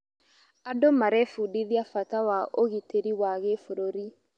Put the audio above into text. Andũ marebundithia bata wa ũgitĩrĩ wa gĩbũrũri.